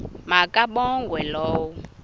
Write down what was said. ma kabongwe low